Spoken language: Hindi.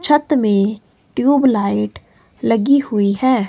छत में ट्यूबलाइट लगी हुई है।